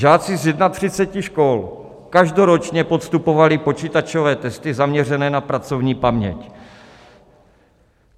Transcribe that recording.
Žáci z 31 škol každoročně podstupovali počítačové testy zaměřené na pracovní paměť.